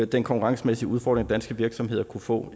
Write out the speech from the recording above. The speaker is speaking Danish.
den konkurrencemæssige udfordring danske virksomheder kan få